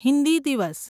હિન્દી દિવસ